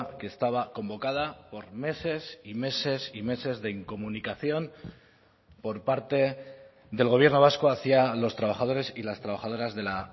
que estaba convocada por meses y meses y meses de incomunicación por parte del gobierno vasco hacia los trabajadores y las trabajadoras de la